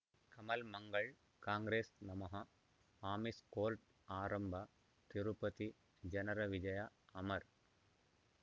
ಕಮಲ್ ಮಂಗಳ್ ಕಾಂಗ್ರೆಸ್ ನಮಃ ಅಮಿಷ್ ಕೋರ್ಟ್ ಆರಂಭ ತಿರುಪತಿ ಜನರ ವಿಜಯ ಅಮರ್